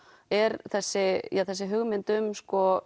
er þessi þessi hugmynd um